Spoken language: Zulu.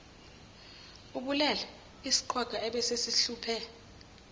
ubulele isiqhwaga ebesesihluphe